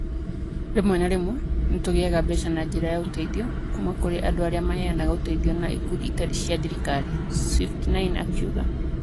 Rĩmwe na rĩmwe, nĩ tũgĩaga mbeca na njĩra ya ũteithio kuuma kũrĩ andũ arĩa maheanaga ũteithio na ikundi ĩtarĩ cia thirikari, swift9 akiuga.